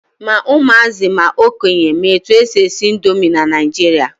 Ma ụmụazị ma okenye ma etu e si esi indomi na Naijiria.